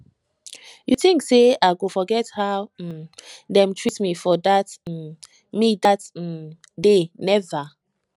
you tink sey i go forget how um dem treat me dat um me dat um day never